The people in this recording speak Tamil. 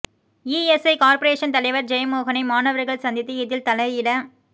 இஎஸ்ஐ கார்ப்பரேசன் தலைவர் ஜெய மோகனை மாணவர்கள் சந்தித்து இதில் தலையிட